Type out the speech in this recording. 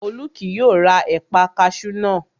Olú kì yóò ra ẹ̀paa kaṣú náà